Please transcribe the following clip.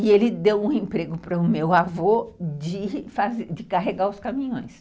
E ele deu um emprego para o meu avô de de carregar os caminhões.